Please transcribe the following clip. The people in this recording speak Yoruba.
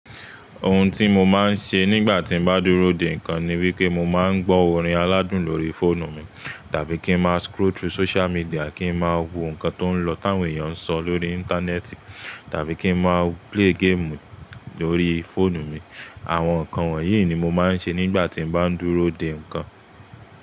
Ohun tí mo máa ń ṣe nígbà tí mo bá dúró de ǹkan ni wípé mo máa ń gbọ́ orin aládùn lórí fóònù mi, tàbí kí ń má scroll through social media kí ń má wo ǹkan tó ń lọ táwọn èèyàn ń sọ lórí Íńtánẹ́ẹ̀tì tàbí kí ń má play game lórí fóònù mi. Àwọn ǹkan wọ̀nyí ni mo máa ń ṣe nígbà tí mo bá dúró de ǹkan.